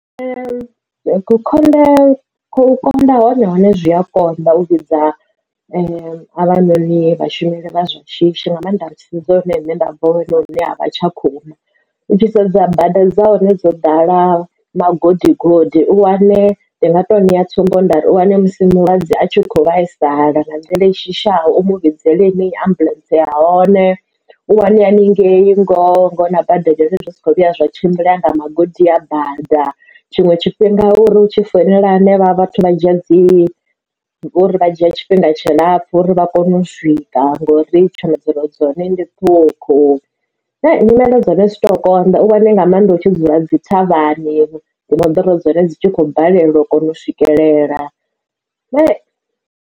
U konḓa hone hone zwi a konḓa u vhidza havhanoni vhashumeli vha zwa shishi nga mannḓa ri tshi sedza riṋe nṋe nda bva hone huna vha Tshakhuma u tshi sedza bada dza hone dzo ḓala magodi godi u wane ndi nga to ṋeya tsumbo nda uri u wane musi mulwadze a tshi kho vhaisala nga nḓila i shushaho umu vhidzele henei ambuḽentse ya hone. U wane haningei ngoho na bada adzi dzhenei zwi sa kho vhuya zwa tshimbila nga magodi a bada tshiṅwe tshifhinga uri hu tshi founela hanevha vhathu vha dzhia dzi uri vha dzhia tshifhinga tshilapfu uri vha kone u swika ita ngori tsho moḓoro dzone ndi ṱuwa u khou nyimelo dzahone zwi to konḓa u wane nga maanḓa u tshi dzula dzi thavhani ndi moḓoro dzone dzi tshi khou balelwa u kona u swikelela.